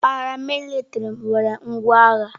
Paramilitrị nwere ngwa agha.